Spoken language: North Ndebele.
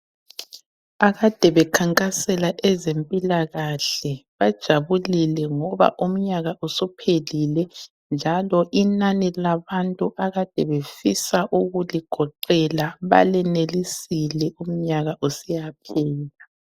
Akade bekhankasela ezempilakahle bajabulile ngoba umnyaka usuphelile njalo inani labantu akade befisa ukuligoqela balenelisile umnyaka usiyaphela.